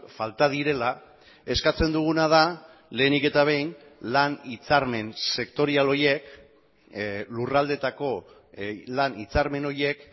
falta direla eskatzen duguna da lehenik eta behin lan hitzarmen sektorial horiek lurraldeetako lan hitzarmen horiek